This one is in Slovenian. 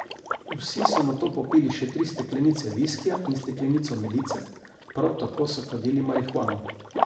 Vsi so nato popili še tri steklenice viskija in steklenico medice, prav tako so kadili marihuano.